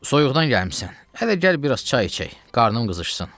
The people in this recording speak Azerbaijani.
Soyuqdan gəlibsən, ələ gəl bir az çay içək, qarnım qızışsın.